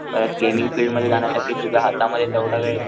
अ gaming field मध्ये जाण्यासाठी तुझ्या हातामध्ये तेवढा वेळ,